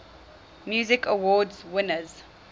music awards winners